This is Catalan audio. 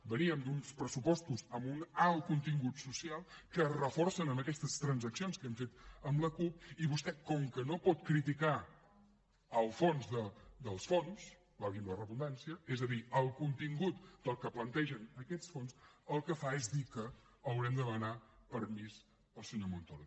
veníem d’uns pressupostos amb un alt contingut social que es reforça amb aquestes transaccions que hem fet amb la cup i vostè com que no pot criticar el fons dels fons valgui la redundància és a dir el contingut del que plantegen aquests fons el que fa és dir que haurem de demanar permís al senyor montoro